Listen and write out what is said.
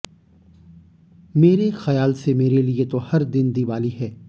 मेरे ख्याल से मेरे लिए तो हर दिन दीवाली है